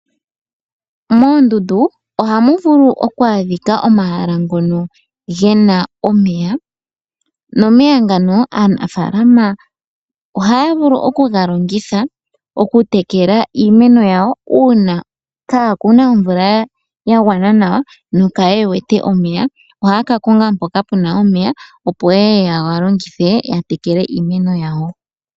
Moondundu ohamu vulu oku adhika omahala ngono gena omeya, nomeya ngano ohaya vulu oku ga longitha okutekela iimeno yawo uuna kaa kuna omvula ya gwana nawa, no kaye wete omeya ohaya ka konga mpoka puna omeya, opo ye ye yega longithe ya tekele iimeno yawo.